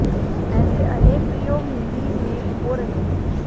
ऐसे अनेक प्रयोग हिंदी में हो रहे हैं